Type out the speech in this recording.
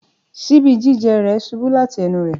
ṣíbì jijẹ rẹ ṣubu lati ẹnu rẹ.